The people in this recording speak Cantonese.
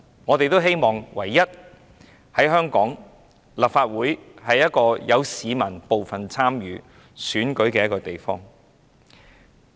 我們希望香港的立法會是一個市民有份參與選舉的地方。